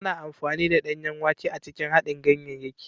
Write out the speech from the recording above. Ana amfani da danyen wake a cikin haɗin ganyayaki.